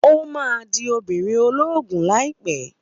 Ó máa di obìnrin ológun láìpẹ́